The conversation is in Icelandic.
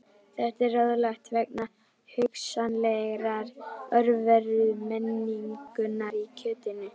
Þetta er ráðlagt vegna hugsanlegrar örverumengunar í kjötinu.